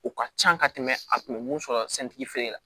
O ka can ka tɛmɛ a kun bɛ mun sɔrɔ santigi la